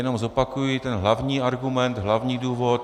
Jenom zopakuji ten hlavní argument, hlavní důvod.